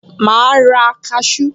Màá ra kaṣú